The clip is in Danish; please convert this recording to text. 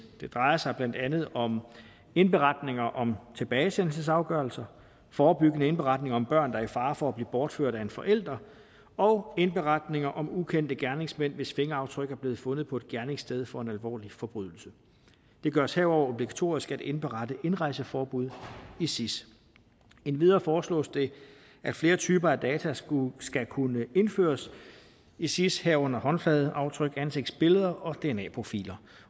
det drejer sig blandt andet om indberetninger om tilbagesendelsesafgørelser forebyggende indberetninger om børn der er i fare for at blive bortført af en forælder og indberetninger om ukendte gerningsmænd hvis fingeraftryk er blevet fundet på et gerningssted for en alvorlig forbrydelse det gøres herudover obligatorisk at indberette indrejseforbud i sis endvidere foreslås det at flere typer af data skal kunne indføres i sis herunder håndfladeaftryk ansigtsbilleder og dna profiler